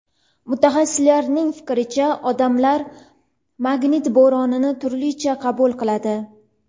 Mutaxassislarning fikricha, odamlar magnit bo‘ronini turlicha qabul qiladi.